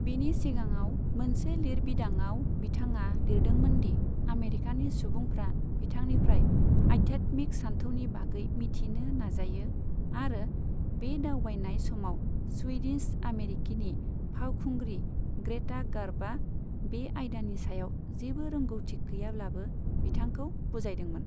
बिनि सिगाङाव मोनसे लिरबिदांआव बिथाङा लिरदोंमोन दि आमेरिकानि सुबुंफ्रा बिथांनिफ्राय आध्यात्मिक सानथौनि बागै मिथिनो नाजायो आरो बे दावबायनाय समाव स्वीडिश आमेरिकीनि फावखुंग्रि ग्रेटा गार्ब'आ बे आयदानि सायाव जेबो रोंगौथि गैयाब्लाबो बिथांखौ बुजायदोंमोन।